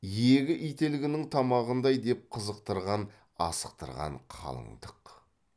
иегі ителгінің тамағындай деп қызықтырған асықтырған қалыңдық